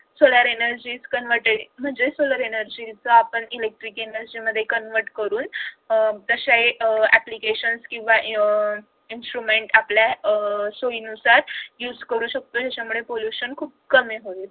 solar energy is converted म्हणजे solar energy चा आपण electric energy मध्ये convert करून अह असा हि अह applications किंवा अह instrument अह आपल्या सोईनुसार use करू शकतो त्याच्यामुळे pollution खूप कमी होईल